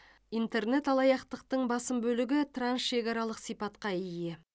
интернет алаяқтықтың басым бөлігі трансшекаралық сипатқа ие